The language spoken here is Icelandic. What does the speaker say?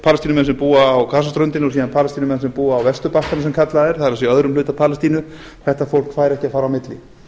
palestínumenn sem búa á vesturbakkanum sem kallaður er það er öðrum hluta palestínu þetta fólk fær ekki að fara á milli